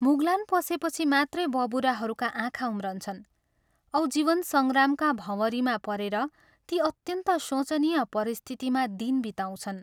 मुगलान पसेपछि मात्रै बबुराहरूका आँखा उम्रन्छन् औ जीवन संग्रामका भँवरीमा परेर ती अत्यन्त शोचनीय परिस्थितिमा दिन बिताउँछन्।